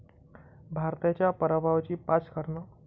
भारताच्या पराभवाची पाच कारणं